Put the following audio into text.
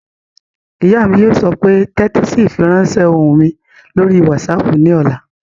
Ìyá mi yóò sọ pé "tẹ́tí sí ìfiránsẹ́ ohùn mi lórí wásaàpù ní ọ̀la!"